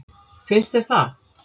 Finnst þér það?